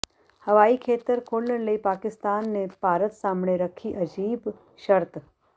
ਹਵਾਈ ਖੇਤਰ ਖੋਲ੍ਹਣ ਲਈ ਪਾਕਿਸਤਾਨ ਨੇ ਭਾਰਤ ਸਾਹਮਣੇ ਰੱਖੀ ਅਜੀਬ ਸ਼ਰਤ